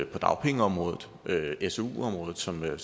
på dagpengeområdet og su området som herre